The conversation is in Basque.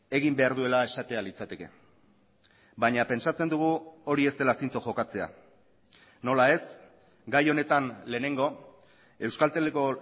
egin behar duela esatea litzateke baina pentsatzen dugu hori ez dela zintzo jokatzea nola ez gai honetan lehenengo euskalteleko